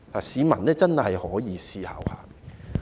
市民真的可以思考一下。